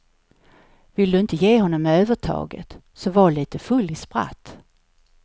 Vill du inte ge honom övertaget så var litet full i spratt.